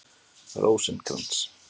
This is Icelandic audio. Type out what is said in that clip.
Rósinkrans